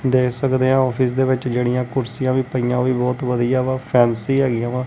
ਦੇਖ ਸਕਦੇ ਹਾਂ ਔਫਿਸ ਦੇ ਵਿੱਚ ਜਿਹੜੀਆਂ ਕੁਰਸੀਆਂ ਵੀ ਪਈਆਂ ਓਹ ਵੀ ਬਹੁਤ ਵਧੀਆ ਵਾਂ ਫੇਂਸੀ ਹੈਗਿਆਂ ਵਾਂ।